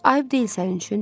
Ayıb deyil sənin üçün, dedi.